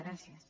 gràcies